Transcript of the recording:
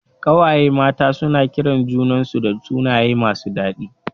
Ƙawaye mata suna kiran junan su da sunaye masu dadi